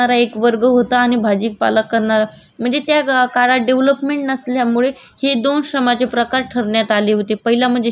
पहिला म्हणजे शिकार करणार वर्ग आणि दुसरा म्हणजे भाजीपाला गोळा करणारा वर्ग अशी श्रमाचे विभागणी करण्यात आलेली होती